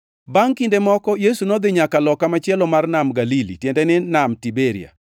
Bangʼ kinde moko, Yesu nodhi nyaka loka machielo mar Nam Galili (tiende ni Nam Tiberia),